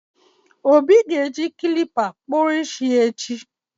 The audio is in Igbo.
obi ga-eji klipa kpụrụ isi ya echi